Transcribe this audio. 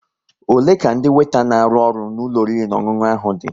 Ole ka ndị weeta n'aru ọrụ n'ulo oriri na ọṅụṅụ ahụ dị?